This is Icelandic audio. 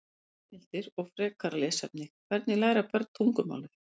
Heimildir og frekara lesefni: Hvernig læra börn tungumálið?